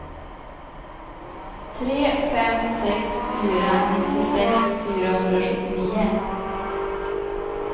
tre fem sex fyra nittiosex fyrahundrasjuttionio